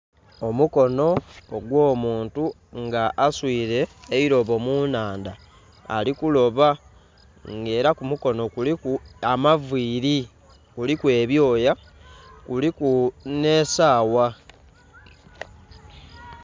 Omukono ogw'omuntu nga aswire eirobo munnhandha ali kuloba nga era kumukono kuliku amaviiri kuliku ebyoya, kuliku n'esawa.